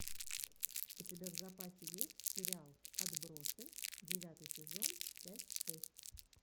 у тебя в запасе есть сериал отбросы девятый сезон часть шесть